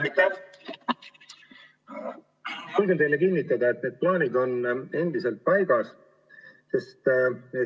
Ma julgen teile kinnitada, et need plaanid on endiselt paigas.